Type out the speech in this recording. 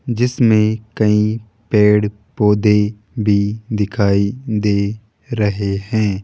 जिसमें कई पेड़ पौधे भी दिखाई दे रहे हैं।